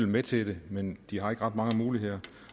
med til det men de har ikke ret mange muligheder